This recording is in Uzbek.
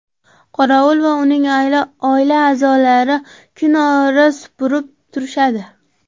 Qorovul va uning oila a’zolari kunora supurib turishadi.